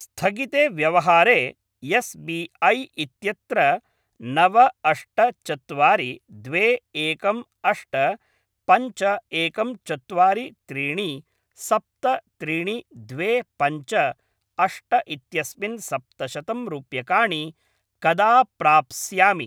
स्थगिते व्यवहारे S B I इत्यत्र नव अष्ट चत्वारि द्वे एकं अष्ट पञ्च एकं चत्वारि त्रिणि सप्त त्रीणि द्वे पञ्च अष्ट इत्यस्मिन् सप्तशतं रूप्यकाणि कदा प्राप्स्यामि?